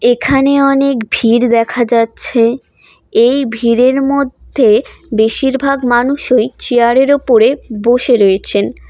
এখানে অনেক ভিড় দেখা যাচ্ছে এই ভিড়ের মধ্যে বেশিরভাগ মানুষই চেয়ারের ওপরে বসে রয়েছেন।